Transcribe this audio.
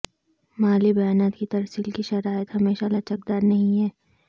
مالی بیانات کی ترسیل کی شرائط ہمیشہ لچکدار نہیں ہے